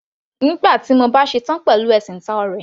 Nígbà tí mo bá ṣetán pẹ̀lú ẹ̀sìn táò ọ̀rẹ́.